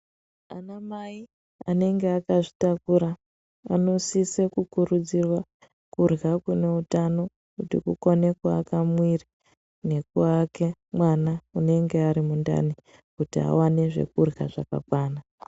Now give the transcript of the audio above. Anamai anenge akazvitakura anosise kukurudzirwa kurya kune utano kuti kukone kuaka muviri nekuake mwana unenge ari mundani kuti awane zvekurya zvakakwana.